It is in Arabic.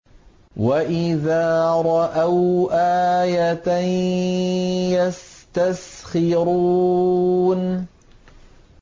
وَإِذَا رَأَوْا آيَةً يَسْتَسْخِرُونَ